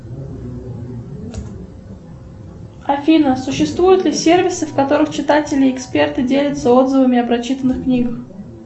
афина существуют ли сервисы в которых читатели и эксперты делятся отзывами о прочитанных книгах